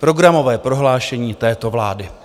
Programové prohlášení této vlády.